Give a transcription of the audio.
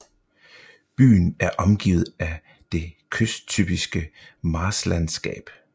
Byen er omgivet af det kysttypiske marsklandsskab